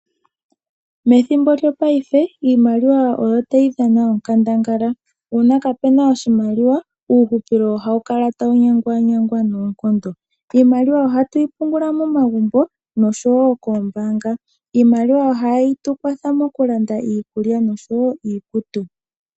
Methimbo lyopaife iimaliwa oyo tayi dhana onkandangala, uuna kapena oshimaliwa uuhupilo ohawu kala tawu nyangwanyangwa noonkondo. Iimaliwa ohatu yi pungula momagumbo nosho wo koombaanga. Iimaliwa ohayi tukwatha mokulanda iikulya nosho wo iikutu.